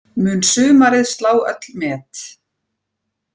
Mun sumarið slá öll met